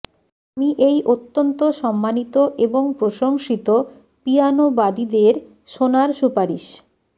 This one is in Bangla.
আমি এই অত্যন্ত সম্মানিত এবং প্রশংসিত পিয়ানোবাদীদের শোনার সুপারিশ